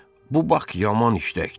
Bu Bak yaman işləkdir.